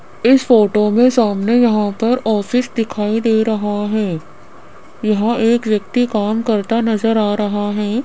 इस फोटो में सामने यहां पर ऑफिस दिखाई दे रहा है यहां एक व्यक्ति काम करता नजर आ रहा है।